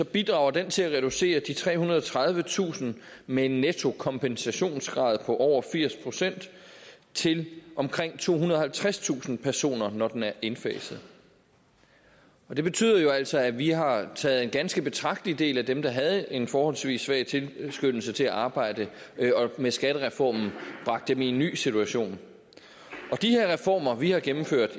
bidrager den til at reducere de trehundrede og tredivetusind med en netto kompensationsgrad på over firs procent til omkring tohundrede og halvtredstusind personer når den er indfaset det betyder jo altså at vi har taget en ganske betragtelig del af dem der havde en forholdsvis svag tilskyndelse til at arbejde og med skattereformen bragt dem i en ny situation og de her reformer vi har gennemført